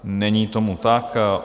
Není tomu tak.